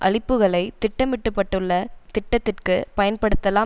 அளிப்புக்களை திட்டமிட்டப்பட்டுள்ள திட்டத்திற்கு பயன்படுத்தலாம்